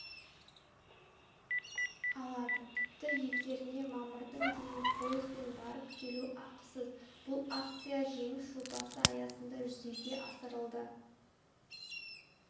алады тіпті елдеріне мамырдың дейін пойызбен барып-келу ақысыз бұл акция жеңіс жобасы аясында жүзеге асырылды